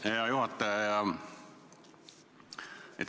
Hea juhataja!